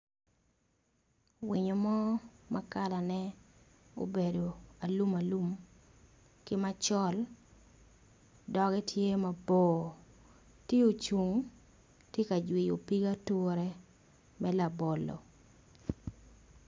Winyo mo ma kalane obedo alum alum ki macol doge tye mabor ti ocung ti ka jwiyo pig ature me labolo.